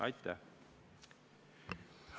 Aitäh!